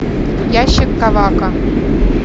ящик ковака